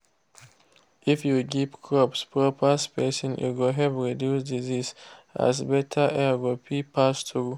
if you give crops proper spacing e go help reduce disease as better air go fit pass through.